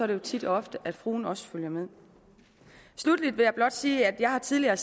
det jo tit og ofte at fruen også følger med sluttelig vil jeg blot sige at jeg tidligere